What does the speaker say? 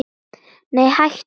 Nei hættu nú!